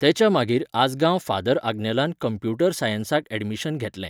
तेच्या मागीर आजगांव फादर आग्नेलांत कंम्प्यूटर सायन्साक admission घेतलें